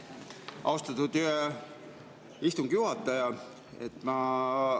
Austatud istungi juhataja!